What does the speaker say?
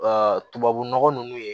tubabunɔgɔ ninnu ye